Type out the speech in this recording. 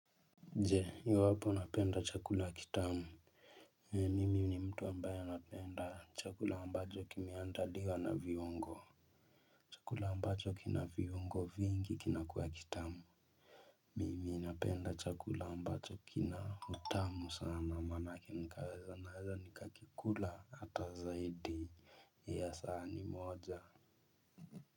Je, ni wapi unapenda chakula kitamu nimi ni mtu ambaye anapenda chakula ambacho kimeandaliwa na viungo chakula ambacho kina viungo vingi kinakuwa kitamu mimi napenda chakula ambacho kina utamu sana manake nikaweza naweza nikakikula hata zaidi ya sahani moja.